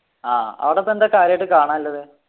ആഹ് അവിടെപ്പോ എന്താ കാര്യായിട്ട് കാണാനുള്ളത്